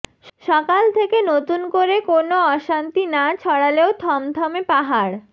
সকাল থেকে নতুন করে কোনও অশান্তি না ছড়ালেও থমথমে পাহাড়